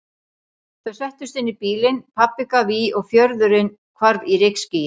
Þau settust inn í bílinn, pabbi gaf í og fjörðurinn hvarf í rykskýi.